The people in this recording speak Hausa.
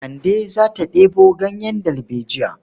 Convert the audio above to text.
Kande za ta ɗebo ganyen dalbejiya.